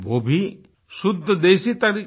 वो भी शुद्ध देसी तरीका